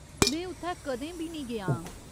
में उत्थै कदें बी निं गेआ आं।